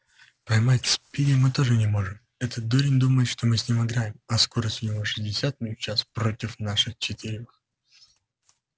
поймать спиди мы тоже не можем этот дурень думает что мы с ним играем а скорость у него шестьдесят миль в час против наших четырёх